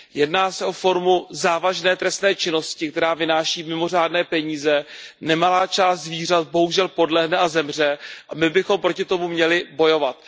Jedná se o formu závažné trestné činnosti, která vynáší mimořádné peníze. Nemalá část zvířat bohužel podlehne a zemře a my bychom proti tomu měli bojovat.